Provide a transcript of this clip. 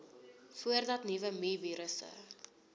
voordat nuwe mivirusse